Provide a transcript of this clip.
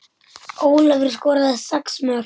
Ólafur skoraði sex mörk.